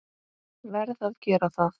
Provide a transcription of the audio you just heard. Verð að gera það.